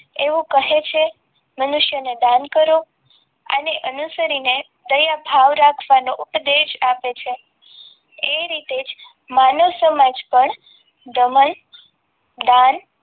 એવું કહે છે મનુષ્યને દાન કરો અને અનુસરીને દયાભાવ રાખવાનું ઉપદેશ આપે છે એ રીતે માનવ સમાજ પણ દમણ દાન એવું